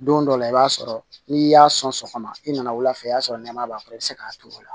Don dɔ la i b'a sɔrɔ n'i y'a sɔn sɔgɔma i nana wula fɛ i b'a sɔrɔ nɛmaya b'a kɔrɔ i bɛ se k'a turu o la